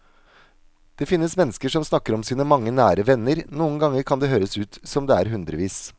Det finnes mennesker som snakker om sine mange nære venner, noen ganger kan det høres ut som om det er hundrevis.